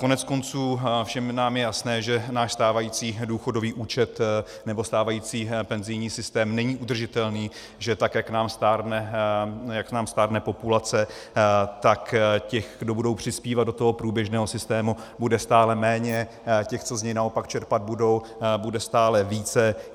Koneckonců, všem nám je jasné, že náš stávající důchodový účet nebo stávající penzijní systém není udržitelný, že tak jak nám stárne populace, tak těch, kdo budou přispívat do toho průběžného systému, bude stále méně, těch, co z něj naopak čerpat budou, bude stále více.